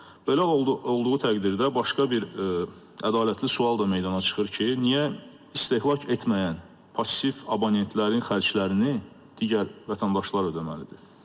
Belə olduğu təqdirdə başqa bir ədalətli sual da meydana çıxır ki, niyə istehlak etməyən, passiv abonentlərin xərclərini digər vətəndaşlar ödəməlidir?